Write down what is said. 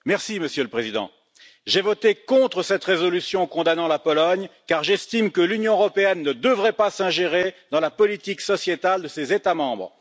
Monsieur le Président, j'ai voté contre cette résolution condamnant la Pologne car j'estime que l'Union européenne ne devrait pas s'ingérer dans la politique sociétale de ses États membres.